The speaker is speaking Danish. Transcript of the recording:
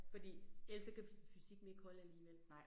Fordi ellers så kan fysikken ikke holde alligevel